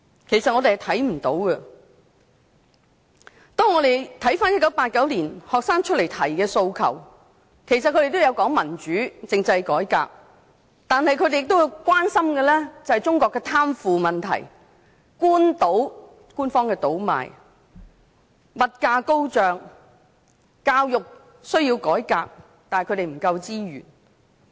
學生在1989年提出的訴求，都有提及民主和政制改革，但他們亦關心中國的貪腐、官方倒賣及物價高漲的問題，也認為教育需要改革，但他們的資源不足。